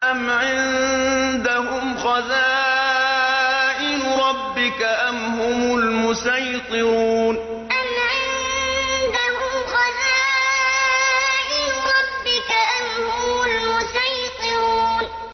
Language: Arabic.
أَمْ عِندَهُمْ خَزَائِنُ رَبِّكَ أَمْ هُمُ الْمُصَيْطِرُونَ أَمْ عِندَهُمْ خَزَائِنُ رَبِّكَ أَمْ هُمُ الْمُصَيْطِرُونَ